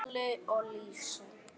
Halli og Lísa.